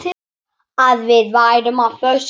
Að við værum á föstu.